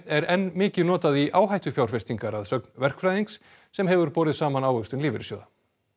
er enn mikið notað í áhættufjárfestingar að sögn verkfræðings sem hefur borið saman ávöxtun lífeyrissjóða